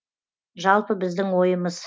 жалпы біздің ойымыз